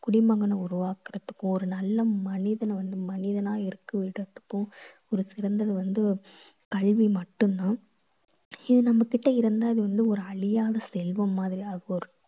குடிமகனை உருவாக்கறத்துக்கு ஒரு நல்ல மனிதனை வந்து மனிதனா இருக்க விடறத்துக்கும் ஒரு சிறந்தது வந்து கல்வி மட்டும் தான். இது நம்மகிட்ட இருந்தா இது வந்து ஒரு அழியாத செல்வம் மாதிரியாக இருக்கும்.